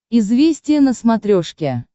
известия на смотрешке